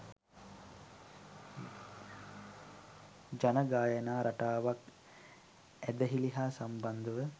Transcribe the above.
ජන ගායනා රටාවක් ඇදහිලි හා සම්බන්ධව